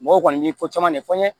Mɔgɔw kɔni ye fɔ caman de fɔ n ɲɛnɛ